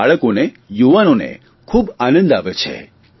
અને બાળકોને યુવાનોને ખૂબ આનંદ આવે છે